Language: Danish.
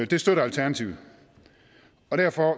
det støtter alternativet derfor